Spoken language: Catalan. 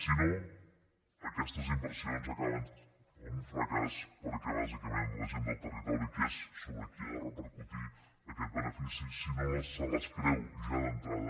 si no aquestes inversions acaben en un fracàs perquè bàsicament la gent del territori que és sobre qui ha de repercutir aquest benefici si no se les creu ja d’entrada